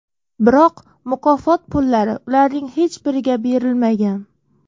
Biroq mukofot pullari ularning hech biriga berilmagan.